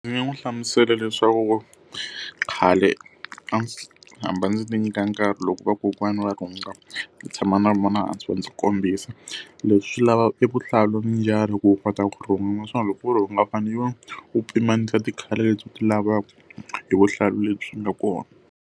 Ndzi nga n'wi hlamusela leswaku khale a ndzi hamba ndzi ti nyika nkarhi loko vakokwana va rhunga, ndzi tshama na vona hansi va ndzi kombisa. Leswi lavaka evuhlalu ku u kota ku rhunga. Naswona loko ku u rhunga u fanele u pimanisa ti-colour leti u ti lavaka hi vuhlalu lebyi nga kona.